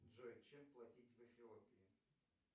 джой чем платить в эфиопии